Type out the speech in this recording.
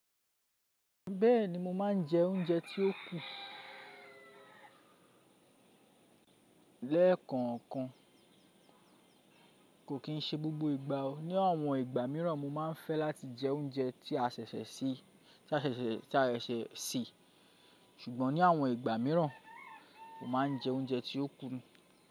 Bẹ́ẹ̀ni mo máà ń jẹ oúnjẹ tí ó kù lẹ́ẹ̀kan kan. Kò kì ń ṣe gbogbo ìgbà o. Ni àwọn ìgbà míràn mo máa ń fẹ́ láti jẹ oúnjẹ tí a ṣẹ̀ṣẹ̀ sè, ṣùgbọ́n ní àwọn ìgbà míràn mo máà ń jẹ oúnjẹ tí ó kù.